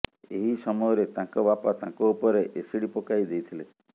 ଏହି ସମୟରେ ତାଙ୍କ ବାପା ତାଙ୍କ ଉପରେ ଏସିଡ୍ପକାଇ ଦେଇଥିଲେ